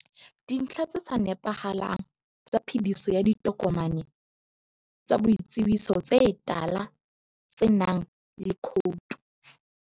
Dintlha tse sa nepahalang tsa phediso ya ditokomane tsa boitsebiso tse tala tsenang le khoutu.